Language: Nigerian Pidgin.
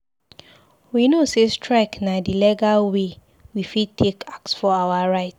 We know sey strike na di legal wey we fit take ask for our right.